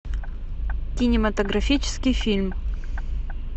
кинематографический фильм